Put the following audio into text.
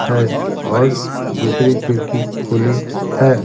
है और दूसरी खिड़की खुली है।